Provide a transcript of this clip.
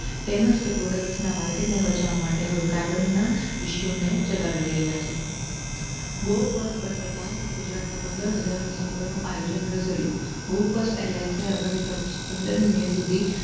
તેમજ તે products ના માર્કેટ ને બચાવવા માટે હવે કાર્બન ના issue ને ચગાવી રહયા છે go first બંધ થતાં ગુજરાત ના પંદર હ્જાર મુસાફરો નું આયોજન રદ થયુ go first airlines આગામી પંદરમી મે સુધી